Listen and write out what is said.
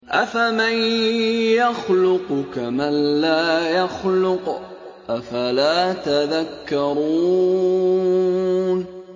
أَفَمَن يَخْلُقُ كَمَن لَّا يَخْلُقُ ۗ أَفَلَا تَذَكَّرُونَ